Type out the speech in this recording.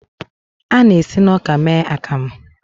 A na-esi na ọka mee akamu.